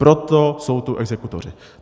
Proto jsou tu exekutoři.